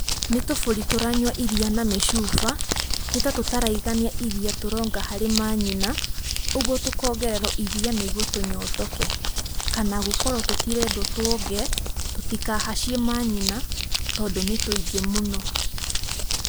Nĩ tũbũri tũranyua iria na mĩcuba, nĩtatũraigania iria tũronga harĩ manyina, ũguo tũkongererwo iria nĩguo tũnyotoke. Kana gũkorwo tũtirendwo tũonge tũtikahacie manyina tondũ nĩ tũingĩ mũno.